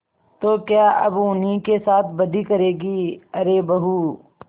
तो क्या अब उन्हीं के साथ बदी करेंगे अरे बहू